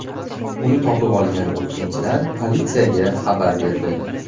Uni topib olgan o‘tkinchilar politsiyaga xabar berdi.